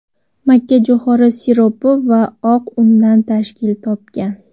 makkajo‘xori siropi va oq undan tashkil topgan.